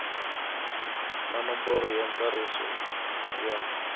na nomboro ya ntsariso ya